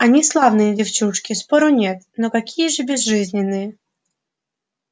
они славные девчушки спору нет но какие же безжизненные